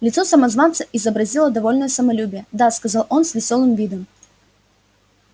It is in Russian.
лицо самозванца изобразило довольное самолюбие да сказал он с весёлым видом